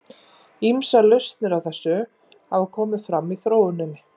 Ýmsar lausnir á þessu hafa komið fram í þróuninni.